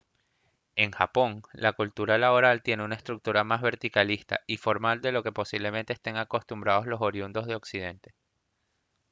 en japón la cultura laboral tiene una estructura más verticalista y formal de lo que posiblemente estén acostumbrados los oriundos de occidente